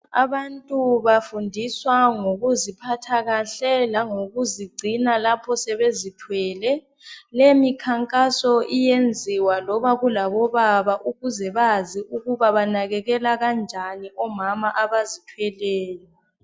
Abantu bafundiswa ngokuziphatha kahle lokuzingcina lapho sebezithwele leyimikhankaso iyenziwa loba kulabo baba ukuze bazi ukuba banekekela kanjani omama abazithweleyo